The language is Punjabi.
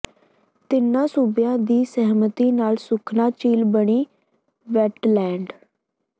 ਤਿੰਨਾਂ ਸੂਬਿਆਂ ਦੀ ਸਹਿਮਤੀ ਨਾਲ ਸੁਖਨਾ ਝੀਲ ਬਣੀ ਵੈਟਲੈਂਡ